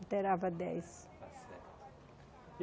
Interava dez.